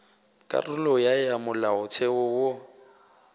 karolo ya ya molaotheo wo